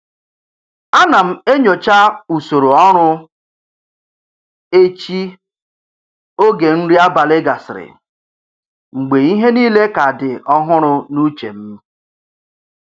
A na m enyocha usoro ọrụ echi oge nri abalị gasịrị, mgbe ihe niile ka dị ọhụrụ n'uche m.